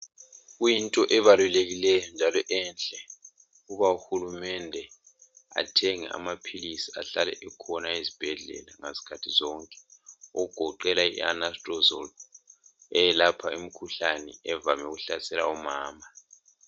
Kuyinto ebalulekileyo njalo enhle ukuthi uhulumende athenge amapills njalo ahlale ekhona ezibhedlela ngazikhathi zonke okugoqela i anastrozole eyelapha imkhuhlane evame ukuhlasela omama